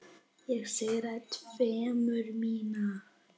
Ég syrgði tilveru mína.